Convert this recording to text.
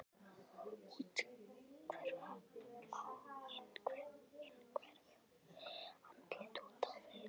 Úthverfa á innhverfu, andlit út á við.